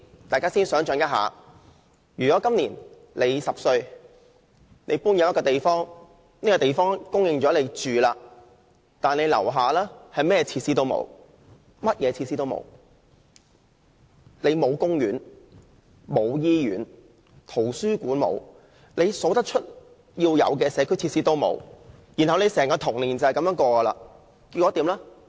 大家可以想象一下，如果你今年10歲，搬進了一個新的住所，但樓下甚麼設施也沒有，公園、醫院、圖書館和一切社區設施皆欠奉，你的整個童年就是這樣度過。